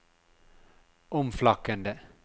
omflakkende